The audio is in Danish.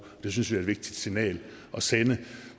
det synes vi er et vigtigt signal at sende